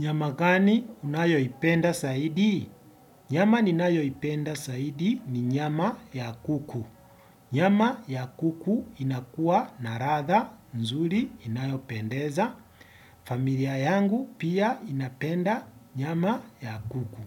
Nyama gani unayoipenda zaidi? Nyama ninayoipenda zaidi ni nyama ya kuku. Nyama ya kuku inakuwa na ladha nzuri inayopendeza. Familia yangu pia inapenda nyama ya kuku.